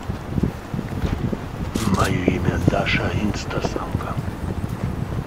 мое имя даша инстасамка